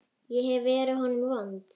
Ég hef verið honum vond.